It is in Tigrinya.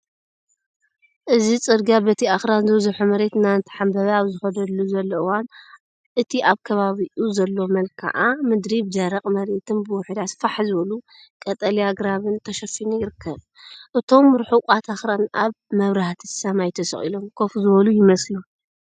እዚ ጽርግያ በቲ ኣኽራን ዝበዝሖ መሬት እናተሓንበበ ኣብ ዝኸደሉ ዘሎ እዋን፡እቲ ኣብ ከባቢኡ ዘሎ መልክዓ ምድሪ ብደረቕ መሬትን ብውሑዳት ፋሕ ዝበሉ ቀጠልያ ኣግራብን ተሸፊኑ ይርከብ። እቶም ርሑቓት ኣኽራን ኣብ መብራህቲ ሰማይ ተሰቒሎም ኮፍ ዝብሉ ይመስሉ።